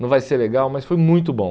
Não vai ser legal, mas foi muito bom.